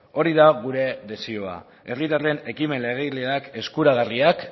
hori da gure desioa herritarren ekimen legegileak eskuragarriak